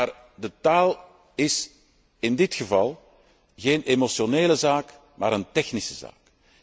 Maar de taal is in dit geval geen emotionele zaak, maar een technische zaak.